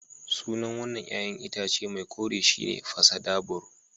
Sunan wan nan ƴa'ƴan itace mai kore shi ne pasadabur.